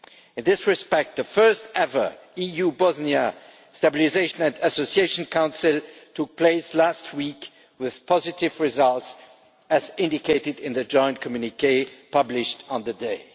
In this respect, the first ever EU Bosnia Stabilisation and Association Council took place last week with positive results, as indicated in the joint communiqué published on the day.